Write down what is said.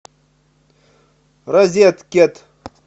розеткед